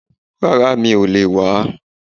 Rárá, mi ò lè wá